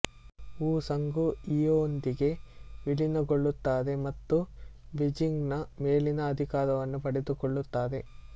ವು ಸಂಗುಯಿಯೊಂದಿಗೆ ವಿಲೀನಗೊಳ್ಳುತ್ತಾರೆ ಮತ್ತು ಬೀಜಿಂಗ್ ನ ಮೇಲಿನ ಅಧಿಕಾರವನ್ನು ಪಡೆದುಕೊಳ್ಳುತ್ತಾರೆ